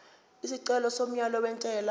isicelo somyalo wentela